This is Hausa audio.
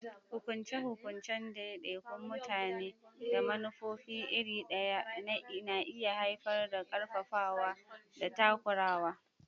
Hukunce-hukuncen daidaikun mutane da manufofin iri ɗaya na iya haifar da ƙarfafawa da takurawa.